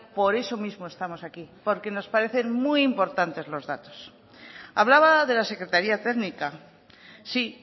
por eso mismo estamos aquí porque nos parecen muy importantes los datos hablaba de la secretaría técnica sí